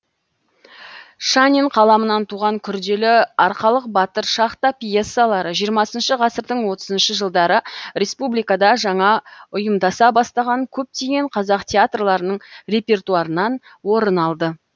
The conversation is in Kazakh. шанин қаламынан туған күрделі арқалық батыр шахта пьесалары жиырмасыншы ғасырдың отызыншы жылдары республикада жаңа ұйымдаса бастаған көптеген қазақ театрларының репертуарынан орын алды